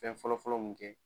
Fɛn fɔlɔfɔlɔ mun kɛ